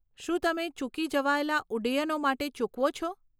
શું તમે ચૂકી જવાયેલા ઉડ્ડયનો માટે ચૂકવો છો?